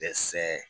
Dɛsɛ